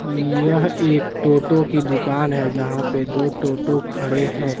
यह एक टोटो की दुकान है यहां पे दो टोटो खड़े हैं।